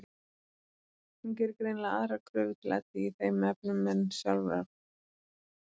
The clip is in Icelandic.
Hún gerir greinilega aðrar kröfur til Eddu í þeim efnum en sjálfrar sín.